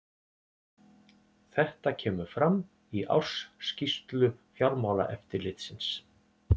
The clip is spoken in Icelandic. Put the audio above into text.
Þetta kemur fram í ársskýrslu Fjármálaeftirlitsins